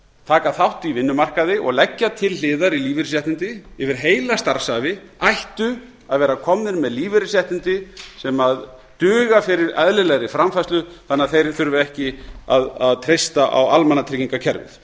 taka þátt í vinnumarkaði og leggja til hliðar í lífeyrisréttindi yfir heila starfsævi ættu að vera komnir með lífeyrisréttindi sem duga fyrir eðlilegri framfærslu þannig að þeir þurfi ekki að treysta á almannatryggingakerfið